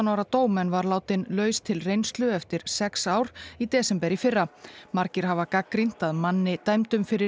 ára dóm en var látinn laus til reynslu eftir sex ár í desember í fyrra margir hafa gagnrýnt að manni dæmdum fyrir